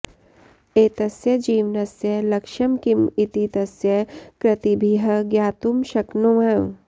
एतस्य जीवनस्य लक्ष्यं किं इति तस्य कृतिभिः ज्ञातुं शक्नुमः